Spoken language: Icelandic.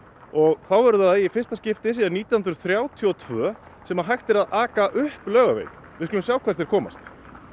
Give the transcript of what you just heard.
og þá verður það í fyrsta skipti síðan nítján hundruð þrjátíu og tvö sem hægt verður að aka upp Laugaveginn við skulum sjá hvert þeir komast